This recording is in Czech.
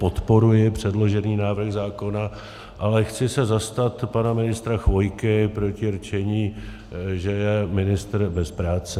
Podporuji předložený návrh zákona, ale chci se zastat pana ministra Chvojky proti rčení, že je ministr bez práce.